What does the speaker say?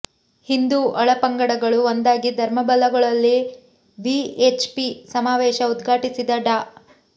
ಹಿಂದೂ ಒಳ ಪಂಗಡಗಳು ಒಂದಾಗಿ ಧರ್ಮ ಬಲಗೊಳ್ಳಲಿ ವಿಎಚ್ಪಿ ಸಮಾವೇಶ ಉದ್ಘಾಟಿಸಿದ ಡಾ